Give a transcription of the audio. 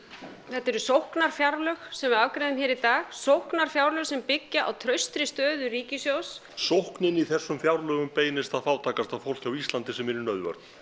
þetta eru sóknarfjárlög sem við afgreiðum hér í dag sóknarfjárlög sem byggja á traustri stöðu ríkissjóðs sóknin í þessum fjárlögum beinist að fátækasta fólki á Íslandi sem er í nauðvörn